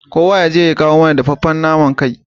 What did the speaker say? Kowa yaje ya kawo mana dafaffen naman kai